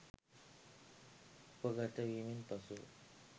උපගත වීමෙන් පසුව